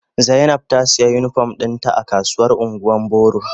Zainab ta siya unipom dinta a kasuwar ungwan boro.